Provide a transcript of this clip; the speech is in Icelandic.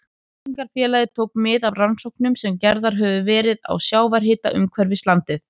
Tryggingafélagið tók mið af rannsóknum sem gerðar höfðu verið á sjávarhita umhverfis landið.